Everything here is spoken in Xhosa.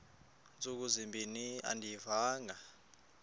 ntsuku zimbin andiyivanga